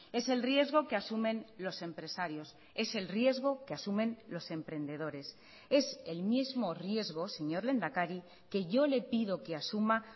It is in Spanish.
es el riesgo que asumen los empresarios es el riesgo que asumen los emprendedores es el mismo riesgo señor lehendakari que yo le pido que asuma